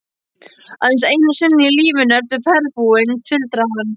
Aðeins einu sinni í lífinu ertu ferðbúinn, tuldraði hann.